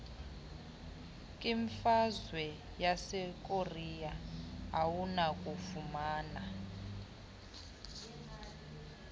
kwimfazwe yasekorea awunakufumana